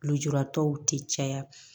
Lujuratɔw tɛ caya